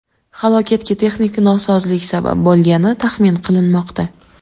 Halokatga texnik nosozlik sabab bo‘lgani taxmin qilinmoqda.